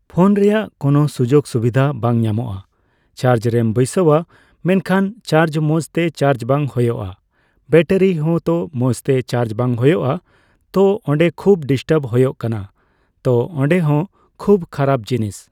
phone ᱨᱮᱭᱟᱜ ᱠᱳᱱᱳ ᱥᱩᱡᱳᱜᱽ ᱥᱩᱵᱤᱫᱷᱟ ᱵᱟᱝ ᱧᱟᱢᱚᱜᱼᱟ, ᱪᱟᱨᱡᱽ ᱨᱮᱢ ᱵᱟᱹᱭᱥᱟᱹᱣᱟ ᱢᱮᱱᱠᱷᱟᱱ ᱪᱟᱡᱽ ᱢᱚᱸᱡᱽ ᱛᱮ ᱪᱟᱡᱽ ᱵᱟᱝ ᱦᱳᱭᱳᱜᱼᱟ ᱾ᱵᱮᱴᱟᱨᱤ ᱦᱚᱭ ᱛᱚ ᱢᱚᱸᱡᱽ ᱛᱮ ᱪᱟᱡᱽ ᱵᱟᱝ ᱦᱳᱭᱳᱜᱼᱟ ᱾ᱛᱚ ᱚᱸᱰᱮ ᱠᱷᱩᱵᱽ ᱰᱤᱥᱴᱟᱵᱽ ᱦᱳᱭᱳᱜ ᱠᱟᱱᱟ ᱛᱚ ᱚᱸᱰᱮ ᱦᱚᱸ ᱠᱷᱩᱵᱽ ᱠᱷᱟᱨᱟᱯ ᱡᱤᱱᱤᱥ